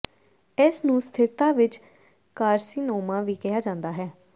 ਇਸ ਨੂੰ ਸਥਿਰਤਾ ਵਿੱਚ ਕਾਰਸੀਨੋਮਾ ਵੀ ਕਿਹਾ ਜਾਂਦਾ ਹੈ